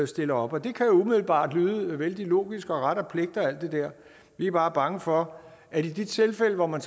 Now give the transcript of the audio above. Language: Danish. stiller op det kan umiddelbart lyde vældig logisk og som ret og pligt og alt det der vi er bare bange for at i de tilfælde hvor man